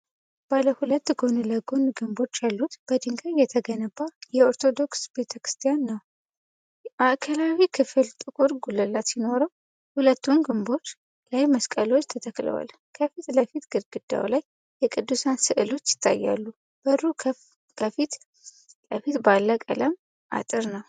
ባለ ሁለት ጎን ለጎን ግንቦች ያሉት በድንጋይ የተገነባ የኦርቶዶክስ ቤተክርስቲያን ነው። ማዕከላዊው ክፍል ጥቁር ጉልላት ሲኖረው፣ ሁለቱም ግንቦች ላይ መስቀሎች ተተክለዋል። ከፊት ለፊት፣ ግድግዳው ላይ የቅዱሳን ስዕሎች ይታያሉ፤ በሩ ፊት ለፊት ባለ ቀለም አጥር አለ።